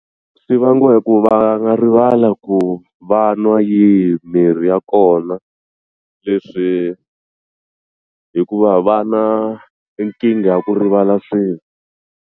Swi vangiwa hi ku va nga rivala ku va nwa yihi mirhi ya kona leswi hikuva va na i nkingha ya ku rivala .